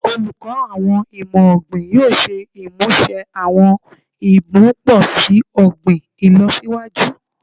Oluko Awọn Imọ-ogbin yoo ṣe imuse awọn imuposi ogbin ilọsiwaju